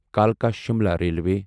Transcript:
کلکا Shimla railway